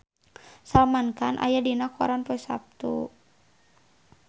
Salman Khan aya dina koran poe Saptu